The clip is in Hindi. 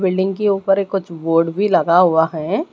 बिल्डिंग के ऊपर ए कुछ बोर्ड भी लगा हुआ हैं।